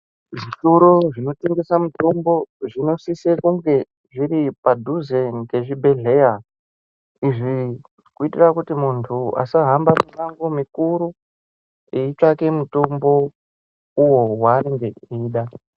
Zvitoro zvinotengesa mitombo zvinosise kunge zviri padhuze ngezvibhedhlera Izvi kuitira kuti muntu ashamba mimango mikuru eitsvake mitombo uwo waanenge eida.